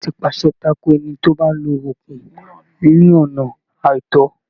Ìjọba ti pàṣẹ tako ẹni tí ó bá ń lo oògùn ní ọ̀nà àìtọ́.